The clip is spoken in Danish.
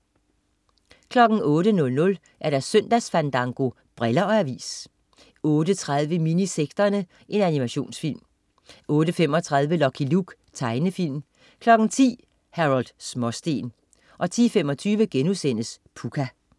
08.00 Søndagsfandango. Briller og avis 08.30 Minisekterne. Animationsfilm 08.35 Lucky Luke. Tegnefilm 10.00 Harold Småsten 10.25 Pucca*